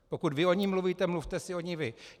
Pokud vy o ní mluvíte, mluvte si o ní vy.